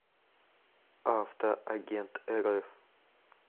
авто агентрф